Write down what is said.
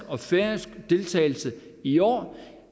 og færøsk deltagelse i år